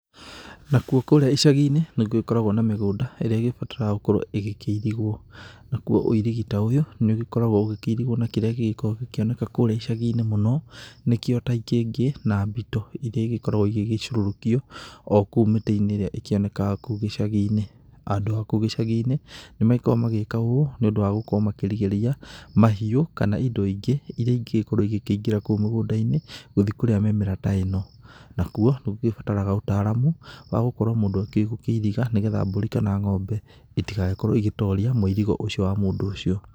Nakuo kũrĩa icagi-inĩ nĩgũgĩkoragwo na mĩgũnda ĩrĩa ĩbataraga gũkorwo ĩgĩkĩirigwo, nakuo ũirigi ta ũyũ nĩ ũgĩkoragwo ũkĩirigwo nakĩrĩa gĩgĩkoragwo gĩkĩoneka kũrĩa icagi-inĩ mũno nĩkĩo ta ikĩngĩ na mbito iria ikoragwo igĩgĩcurũrũkio okũu mĩtĩ-inĩ ĩrĩa ĩkĩonekaga okũu icagi-inĩ. Andũ a kũu icagi-inĩ nĩ makoragwo magĩka ũũ nĩ ũndũ wa gũkorwo makĩrigĩrĩria mahiũ kana indo ingĩ iria ingĩgĩkorwo igĩkĩingĩra kũu mũgũnda-inĩ gũthi kũrĩa mĩmera ta ĩno. Nakuo gũkĩbataraga ũtaramu wa gũkorwo mũndũ agĩkĩũĩ gũkĩiriga nĩ getha mbũri kana ng'ombe itigagĩkorwo igĩtoria mũirigo ũcio wa mũndũ ũcio.